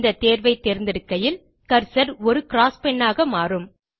இந்த தேர்வை தேர்ந்தெடுக்கையில் கர்சர் ஒரு க்ராஸ்பென் ஆக மாறும்